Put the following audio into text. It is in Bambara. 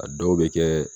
A dɔw bɛ kɛ